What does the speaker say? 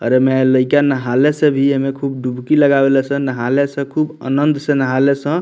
अरे एमे लइका नहाले सभी खूब डुबकी लगवले सन नहाले सन खूब आनंद से नहाले सन।